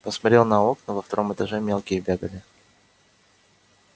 посмотрел на окна во втором этаже мелкие бегали